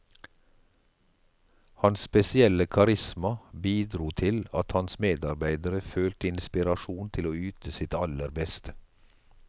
Hans spesielle karisma bidro til at hans medarbeidere følte inspirasjon til å yte sitt aller beste.